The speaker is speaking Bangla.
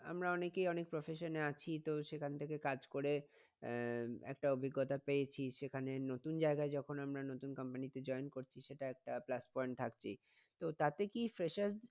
আমরা অনেকেই অনেক profession এ আছি তো সেখান থেকে কাজ করে আহ একটা অভিজ্ঞতা পেয়েছি সেখানে নতুন জায়গায় যখন আমরা নতুন company তে join করছি সেটা একটা plus point থাকছেই। তো তাতে কি fresher